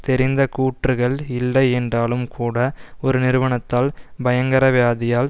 தெரிந்த கூற்றுக்கள் இல்லை என்றாலும் கூட ஒரு நிறுவனத்தால் பயங்கரவியதியால்